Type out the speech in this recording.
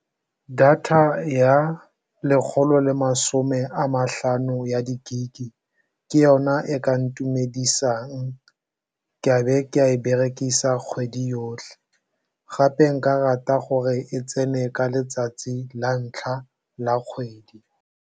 Data ya lekgolo le masome a matlhano ya di-gig-e ke yona e ka ntumedisang ka be ka e berekisa kgwedi yotlhe, gape nka rata gore e tsene ka letsatsi la ntlha la kgwedi.